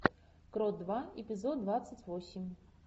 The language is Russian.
крот два эпизод двадцать восемь